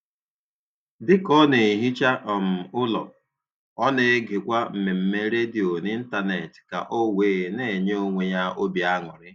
Dịka ọ na - ehicha um ụlọ, ọ na-egekwa mmemme redio n'Ịntanet ka ọ wee na - enye onwe ya obi aṅụrị.